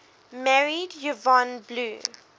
married yvonne blue